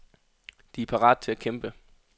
De er parat til at kæmpe.